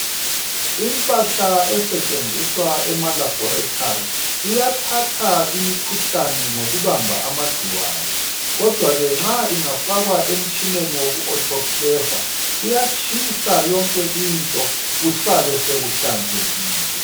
Impahla esetshenziswa emalabhorethi iyathatha imikhuhlane ngokubamba amagcikwane kodwa ke nxa ingafakwa emtshineni woku"auto claver" kuyatshisa yonke into kusale sekuhlanzekile.